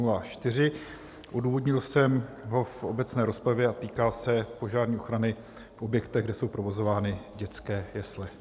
Odůvodnil jsem ho v obecné rozpravě a týká se požární ochrany v objektech, kde jsou provozovány dětské jesle.